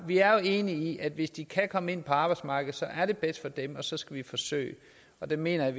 vi er jo enige om at hvis de kan komme ind på arbejdsmarkedet er det bedst for dem og så skal vi forsøge og der mener jeg